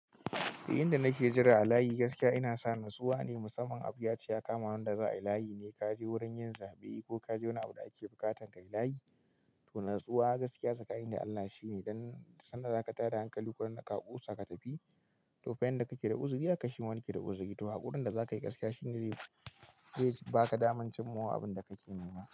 "Eh, yanda nake jira a layi gaskiya ina sa natsuwa ne. Musamman abu ya ce ya kama wanda za'ayi layi ne kaje wurin yin zaɓe ko kaje wani abu da ake buƙatar kai layi, to natsuwa gaskiya sakani da Allah shi ne. Dan sanda za ka tada hankali ko wanda ka ƙosa ka tafi, to fa yanda kake da uzuri haka shima wani ke da uzuri. To, haƙurin da za ka yi gaskiya shi ne zai baka damar cimma wa abin da kake nema."